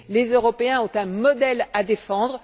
Les Européens ont un modèle à défendre.